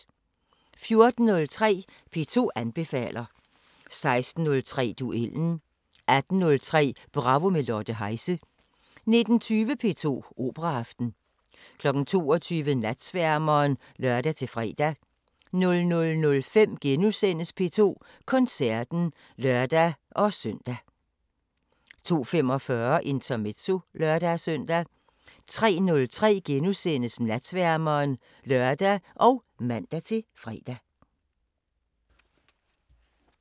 14:03: P2 anbefaler 16:03: Duellen 18:03: Bravo – med Lotte Heise 19:20: P2 Operaaften 22:00: Natsværmeren (lør-fre) 00:05: P2 Koncerten *(lør-søn) 02:45: Intermezzo (lør-søn) 03:03: Natsværmeren *(lør og man-fre)